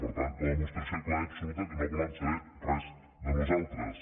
per tant la demostració clara i absoluta que no volen saber res de nosaltres